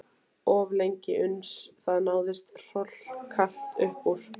Of lengi uns það náðist hrollkalt upp úr